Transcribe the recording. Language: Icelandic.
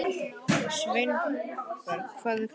Sveinberg, hvað er klukkan?